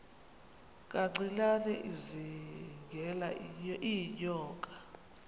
kancinane izingela iinyoka